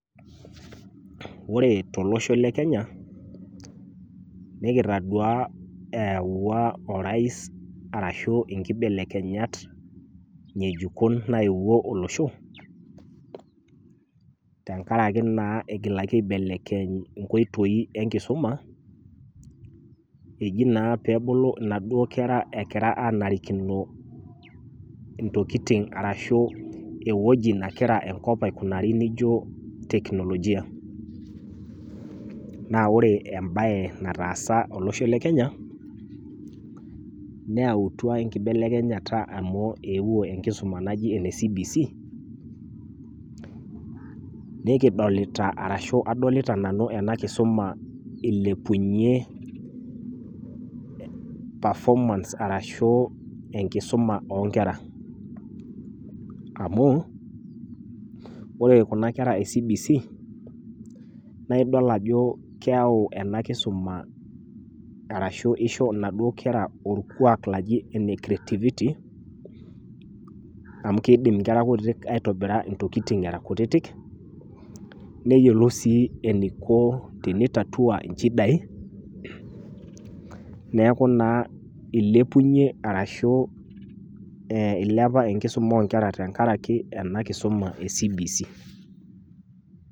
Ore tolosho le kenya nikitaduaa eyawua orais arashu nkibelekenyat ngejuko naetwo olosho tenkaraki naa igilaki naa aibelekenya inkoitoi enkisuma eji naa pebulu inaduo kera egira anarikino ntokitin arashu ewueji negira enkop aikunari nijo teknolojia naa ore embae nataasa olosho le kenya , neyautwa enkibelekenyata amu ewuo enkisuma naji ene cbc. Nikiolita arashu adolita nanu ena kisuma ilepunyie perfomance arashu enkisuma oonkera amu ore kuna kera e cbc naa idol ajo keyau enaduo kisuma ashu inkera orkwak loji ole creativity amu kidim inkera kutitik aitobira intokitin era kutitik neyiolou sii eniko pitatua inchidai naaku naa ilpunyie arashu ilepua enkisuma oonkera tenkaraki ena kisuma e cbc.